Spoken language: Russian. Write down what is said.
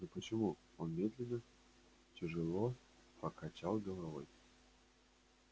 но почему он медленно тяжёло покачал головой